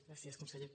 gràcies conseller